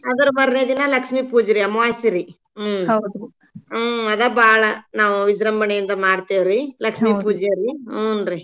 ಅದ್ರ್ ಮಾರ್ನೆ ದಿನಾ ಲಕ್ಷ್ಮೀ ಪೂಜೆರೀ ಅಮ್ವಾಸ್ಸಿರೀ ಹ್ಮ್‌ ಹ್ಮ್‌ ಅದ್ ಬಾಳ್ ನಾವ್ ವಿಜ್ರಂಬಣೇಯಿಂದ ಮಾಡ್ತೇವ್ರೀ ಲಕ್ಷ್ಮೀ ಪೂಜೆಯಲ್ಲಿ ಹೂನ್ರಿ.